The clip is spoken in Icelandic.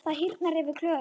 Það hýrnar yfir Klöru.